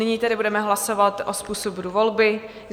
Nyní tedy budeme hlasovat o způsobu volby.